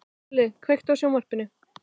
Olli, kveiktu á sjónvarpinu.